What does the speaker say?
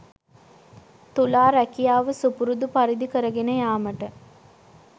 තුලා රැකියාව සුපුරුදු පරිදි කරගෙන යාමට